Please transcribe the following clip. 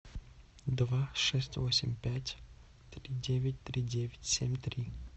два шесть восемь пять три девять три девять семь три